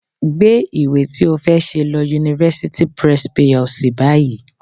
Gbé ìwé ti ó fẹ́ ṣe lọ University Press PLC báyìí